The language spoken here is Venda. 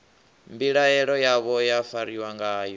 mbilaelo yavho ya fariwa ngayo